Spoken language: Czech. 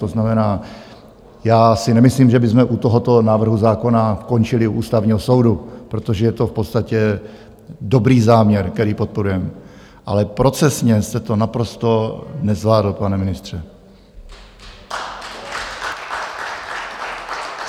To znamená, já si nemyslím, že bychom u tohoto návrhu zákona končili u Ústavního soudu, protože je to v podstatě dobrý záměr, který podporujeme, ale procesně jste to naprosto nezvládl, pane ministře.